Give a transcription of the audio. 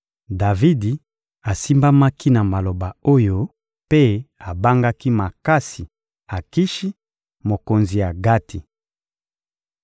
Davidi asimbamaki na maloba oyo mpe abangaki makasi Akishi, mokonzi ya Gati.